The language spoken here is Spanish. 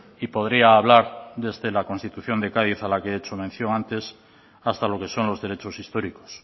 y podría hablar desde la constitución de cádiz a la que he hecho mención antes hasta lo que son los derechos históricos